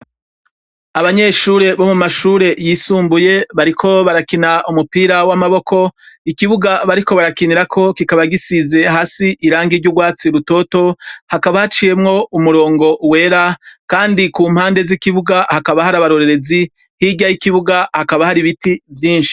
Abanyeshure bo mu mashure yisumbuye bariko barakina umupira w'amaboko ikibuga bariko barakinirako kikaba gisize hasi irangi ry'urwatsi rutoto hakaba haciyemwo umurongo wera, kandi ku mpande z'ikibuga hakaba hari abarorerezi hirya y'ikibuga hakaba hari ibiti vyinshi.